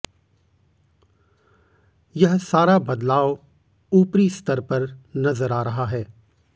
यह सारा बदलाव ऊपरी स्तर पर नजर आ रहा हैं